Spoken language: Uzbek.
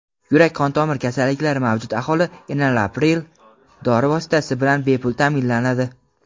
Yurak-qon tomir kasalliklari mavjud aholi enalapril dori vositasi bilan bepul taʼminlanadi.